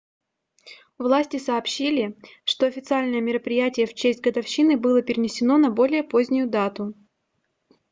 власти сообщили что официальное мероприятие в честь годовщины было перенесено на более позднюю дату